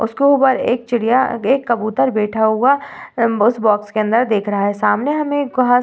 उसके ऊपर एक चिड़िया एक कबूतर बैठा हुआ उस बॉक्स के अंदर देख रहा है सामने हमे घास --